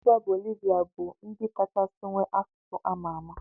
Mba bolivia bu ndi kachasi nwee asụsụ amama.